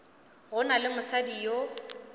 go na le mosadi yo